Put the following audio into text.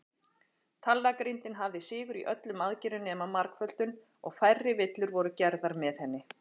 Talnagrindin hafði sigur í öllum aðgerðum nema margföldun, og færri villur voru gerðar með henni.